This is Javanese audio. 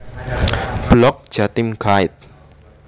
Blog Jatim Guide